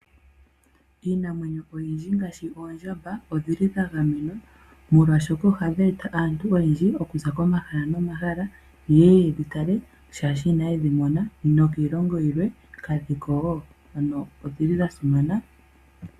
Iinamwenyo oyindji ngaashi oondjamba odhili dhagamenwa molwashoka ohadhi eta aantu oyendji okuza komahala nomahala yeye yedhitale shaashi inayedhimona nokiilongo yilwe kadhiko, ano odhili dhasimana.